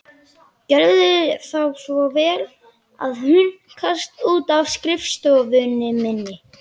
Gjörðu þá svo vel að hunskast út af skrifstofunni minni.